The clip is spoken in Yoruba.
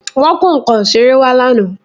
Wọ́n kó nǹkan ìṣeré wá lánàá